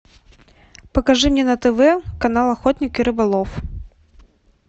покажи мне на тв канал охотник и рыболов